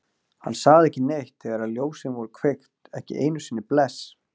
Hann sagði ekki neitt þegar ljósin voru kveikt, ekki einu sinni bless.